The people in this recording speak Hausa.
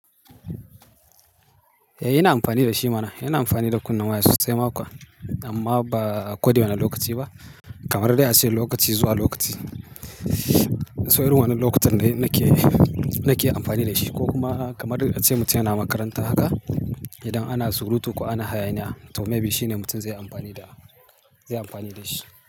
Eh, ina amfani da shi mana. Ina amfani da kunne waya sosai ma kuwa amma ba a ko da wane lokaci ba. Kamar dai a ce lokaci zuwa lokaci. So irin wannan lokacin ne nake, nake amfani da shi ko kuma kamar a ce mutum yana makaranta haka. Idan ana surutu ko ana hayaniya to maybe shine mutum zai amfani da, zai amfani da shi.